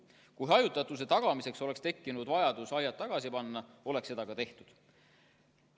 Kui hajutatuse tagamiseks oleks tekkinud vajadus aiad tagasi panna, oleks seda ka tehtud.